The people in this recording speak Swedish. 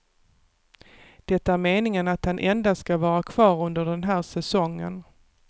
Det är meningen att han endast ska vara kvar under den här säsongen.